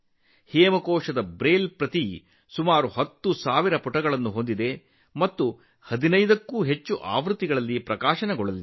ಹೇಮಕೋಶ್ನ Braille ಆವೃತ್ತಿಯು ಸುಮಾರು 10000 ಪುಟಗಳನ್ನು ಹೊಂದಿದೆ ಮತ್ತು 15 ಕ್ಕೂ ಹೆಚ್ಚು ಸಂಪುಟಗಳಲ್ಲಿ ಪ್ರಕಟವಾಗಲಿದೆ